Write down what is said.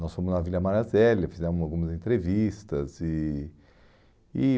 Nós fomos na Vila Maria Zélia, fizemos algumas entrevistas. E e